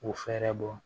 K'u fɛɛrɛ bɔ